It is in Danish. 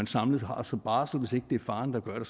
samlet har som barsel hvis ikke det er faren der gør det